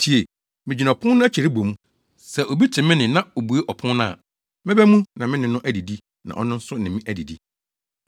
Tie! Migyina ɔpon no akyi rebɔ mu; sɛ obi te me nne na obue ɔpon no a, mɛba mu na me ne no adidi na ɔno nso ne me adidi.